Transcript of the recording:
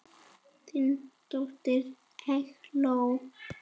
Þín dóttir, Eygló.